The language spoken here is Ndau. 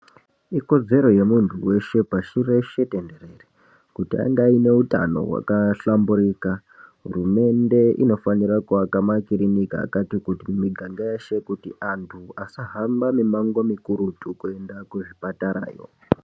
Ikodzero yemunthu weshe pashi reshe tenderere kuti ange aine utano hwakahlamburika, hurumende inofanira kuaka makirinika akati kuti mumiganga yeshe kuti antu asahamba mumango mukurutu kuenda kuzvipatarayo.